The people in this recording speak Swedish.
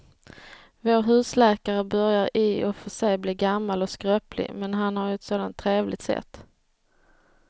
Vår husläkare börjar i och för sig bli gammal och skröplig, men han har ju ett sådant trevligt sätt!